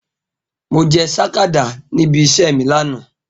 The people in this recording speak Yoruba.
Mo je sakada ni ibi ise mi lana.